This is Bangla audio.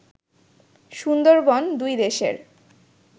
সুন্দরবন দুই দেশের